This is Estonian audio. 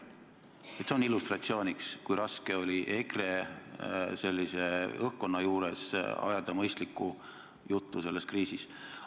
Nii palju illustratsiooniks, kui raske oli EKRE loodud õhkkonna puhul ajada mõistlikku juttu sellest kriisist.